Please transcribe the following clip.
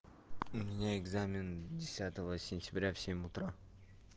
у меня экзамен десятого сентября в семь утра